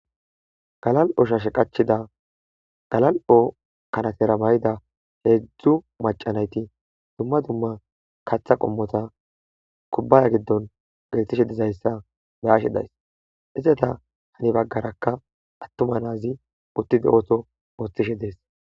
Galal7oshashe qachida galal7o kanatera bay'da heezu macanayti dumma dumma katha qommota kubbaya giddon gettishe dizayssa beashe days izeta hani baggarakka attuma naazi uttide otho oththishe dees.